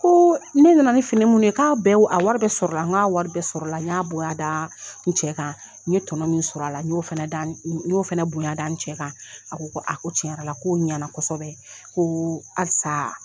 Ko ne nana ni fini minnu ye k'a wari bɛɛ sɔrɔ la n k'a wari bɛɛ sɔrɔ la n y'a bonya da n cɛ kan tɔnɔ min sɔrɔla la n y'o fana bonya da n cɛ kan a ko a ko tiɲɛ yɛrɛ la ko ɲana kosɛbɛ ko alisa.